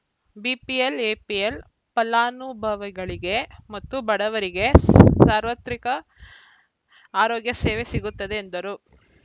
BPL APL ಫಲಾನುಭವಿಗಳಿಗೆ ಮತ್ತು ಬಡವರಿಗೆ ಸಾರ್ವತ್ರಿಕ ಆರೋಗ್ಯ ಸೇವೆ ಸಿಗುತ್ತಿದೆ ಎಂದರು